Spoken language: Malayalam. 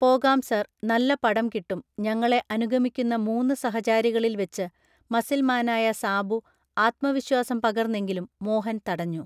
പോകാം സാർ നല്ല പടം കിട്ടും ഞങ്ങളെ അനുഗമിക്കുന്ന മൂന്നു സഹചാരികളിൽ വെച്ച് മസിൽമാനായ സാബു ആത്മവിശ്വാസം പകർന്നെങ്കിലും മോഹൻ തടഞ്ഞു